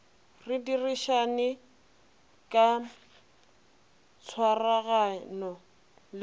re dirišane ka tshwaragano le